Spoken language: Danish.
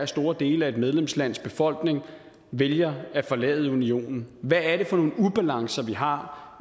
store dele af et medlemslands befolkning vælger at forlade unionen hvad er det for nogle ubalancer vi har